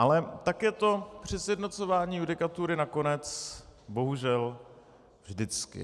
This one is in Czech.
Ale tak je to při sjednocování judikatury nakonec bohužel vždycky.